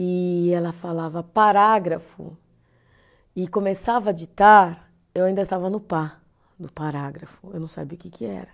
E ela falava parágrafo e começava a ditar, eu ainda estava no pa, do parágrafo, eu não sabia o que que era.